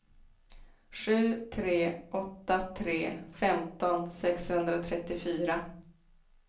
sju tre åtta tre femton sexhundratrettiofyra